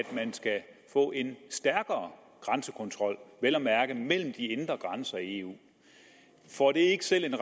man skal få en stærkere grænsekontrol vel at mærke mellem de indre grænser i eu får det ikke selv en